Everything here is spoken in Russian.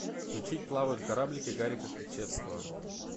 включить плавают кораблики гарика кричевского